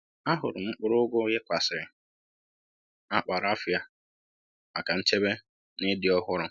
Ahụrụ m mkpụrụ ugu yikwasịrị n’akpa rafiya maka nchebe na ịdị ọhụrụ.